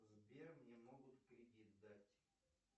сбер мне могут кредит дать